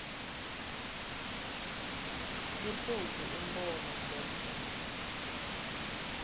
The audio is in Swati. liphuzu umbono lelinye